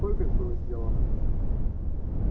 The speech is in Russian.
сколько их было сделано